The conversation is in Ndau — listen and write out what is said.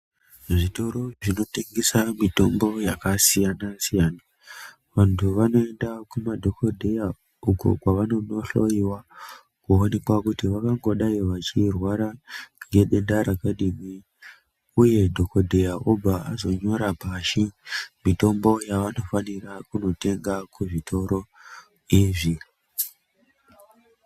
Zvitoro zvinotengesa mitombo yakasiyana-siyana, vantu vanoenda kumadhokodheya uko kwavanonohloyiwa kuonekwa kuti vangangodai vachirwara ngedenda rakadini, Uye dhokodheya obva azonyora pashi mitombo yavanofanira kunotenga kuzvitoro izvi.